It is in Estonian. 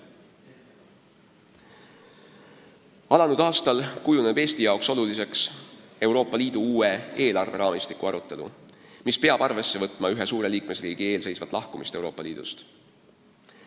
Alanud aastal kujuneb Eesti jaoks oluliseks Euroopa Liidu uue eelarveraamistiku arutelu, kus peab arvesse võtma ühe suure liikmesriigi eelseisvat lahkumist Euroopa Liidust.